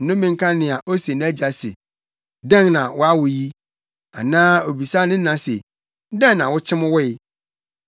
Nnome nka nea ose nʼagya se ‘Dɛn na woawo yi?’ Anaa obisa ne na se, ‘Dɛn na wokyem woe?’